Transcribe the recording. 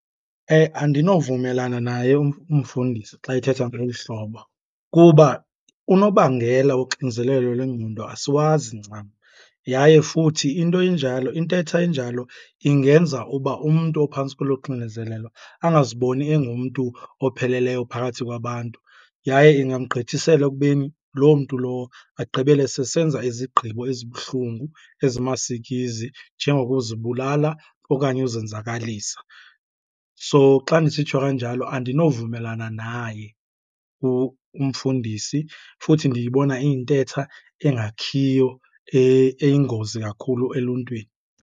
Andinovumelana naye umfundisi xa ethetha ngeli hlobo kuba unobangela woxinezelelo lwengqondo asiwazi ncam. Yaye futhi into enjalo, intetha enjalo ingenza uba umntu ophantsi kwelo xinezelelo angaziboni engumntu opheleleyo phakathi kwabantu, yaye ingamgqithisela ekubeni loo mntu lowo agqibele sesenza izigqibo ezibuhlungu, ezimasikizi, njengokuzibulala okanye uzenzakalisa. So, xa ndisitsho kanjalo andinovumelana naye umfundisi futhi ndiyibona iyintetha engakhiyo eyingozi kakhulu eluntwini.